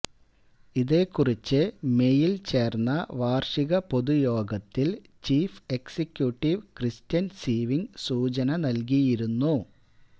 ഇതെക്കുറിച്ച് മേയില് ചേര്ന്ന വാര്ഷിക പൊതുയോഗത്തില് ചീഫ് എക്സിക്യൂട്ടിവ് ക്രിസ്ററ്യന് സീവിങ് സൂചന നല്കിയിരുന്നു